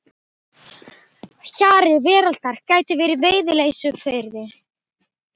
Hjari veraldar gæti verið í Veiðileysufirði.